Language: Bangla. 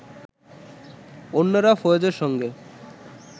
অন্যরা ফয়েজের সঙ্গে